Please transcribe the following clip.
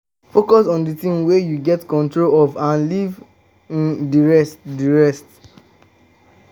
um focus on di things wey you get control of and leave um di rest di rest